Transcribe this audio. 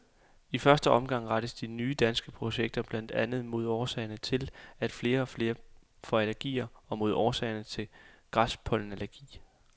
I første omgang rettes de nye danske projekter blandt andet mod årsagerne til, at flere og flere børn får allergier og mod årsagerne til græspollenallergi.